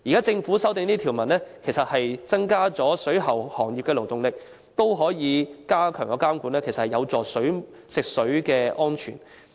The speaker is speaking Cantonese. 政府現時修訂這些條文，增加了水務設施行業的勞動力，而且加強監管，其實是有助於食水安全。